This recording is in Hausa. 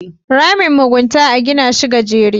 Ramin mugunta a gina shi gajere